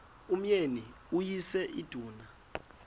umyeni uyise iduna